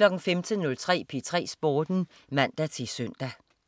15.03 P3 Sporten (man-søn)